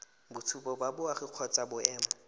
boitshupo ba boagi kgotsa boemo